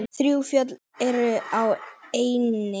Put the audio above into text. Þrjú fjöll eru á eynni.